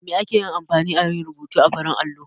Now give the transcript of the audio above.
Da me ake amfani a yi rubutu a farin allo?